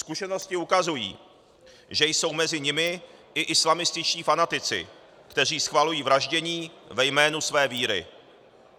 Zkušenosti ukazují, že jsou mezi nimi i islamističtí fanatici, kteří schvalují vraždění ve jménu své víry.